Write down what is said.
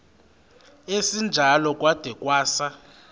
esinjalo kwada kwasa